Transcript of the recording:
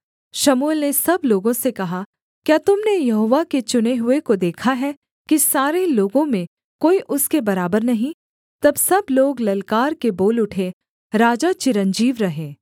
शमूएल ने सब लोगों से कहा क्या तुम ने यहोवा के चुने हुए को देखा है कि सारे लोगों में कोई उसके बराबर नहीं तब सब लोग ललकार के बोल उठे राजा चिरंजीव रहे